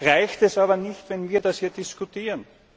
reicht es aber nicht, wenn wir das hier diskutieren.